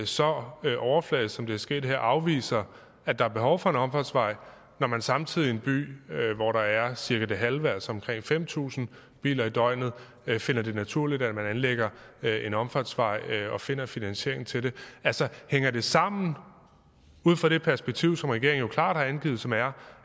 så overfladisk som det er sket her afviser at der er behov for en omfartsvej når man samtidig i en by hvor der er cirka det halve antal altså omkring fem tusind biler i døgnet finder det naturligt at man anlægger en omfartsvej og finder finansiering til det altså hænger det sammen ud fra det perspektiv som regeringen jo klart har angivet som er